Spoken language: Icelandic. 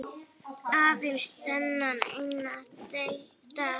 Aðeins þennan eina dag!